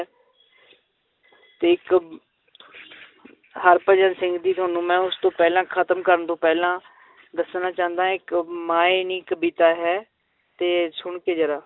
ਤੇ ਇੱਕ ਹਰਭਜਨ ਸਿੰਘ ਦੀ ਤੁਹਾਨੂੰ ਮੈਂ ਉਸ ਤੋਂ ਪਹਿਲਾਂ ਖਤਮ ਕਰਨ ਤੋਂ ਪਹਿਲਾਂ ਦੱਸਣਾ ਚਾਹੁੰਦਾ ਇੱਕ ਮਾਏਂ ਨੀ ਕਵਿਤਾ ਹੈ, ਤੇ ਸੁਣਕੇ ਜ਼ਰਾ